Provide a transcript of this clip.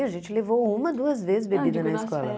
A gente levou uma, duas vezes bebida na escola.